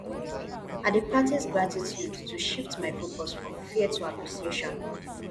i dey practice gratitude to shift my focus from fear to appreciation